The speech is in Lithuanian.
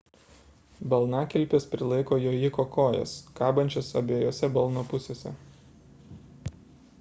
balnakilpės prilaiko jojiko kojas kabančias abiejose balno pusėse